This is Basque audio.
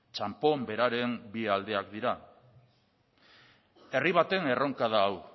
txanpon beraren bi aldeak dira herri baten erronka da hau